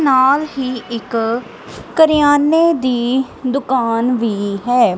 ਨਾਲ ਹੀ ਇੱਕ ਕਰਿਆਨੇ ਦੀ ਦੁਕਾਨ ਵੀ ਹੈ।